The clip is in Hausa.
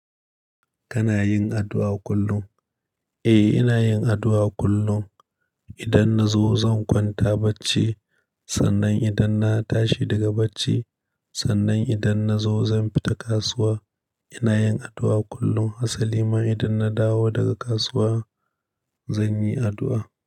Kana yin addu'a kullum? Eh, ina yin addu'a kullum. Idan na zo zan kwanta bacci, sannan idan na tashi daga bacci, sannan idan na zo zan fita kasuwa. Ina yin addu'a kullum. Hasali ma idan na dawo daga kasuwa, zan yi addu'a.